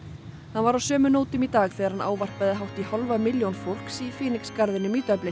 var á sömu nótum í dag þegar hann ávarpaði hátt í hálfa milljón fólks í Phoenix garðinum í Dublin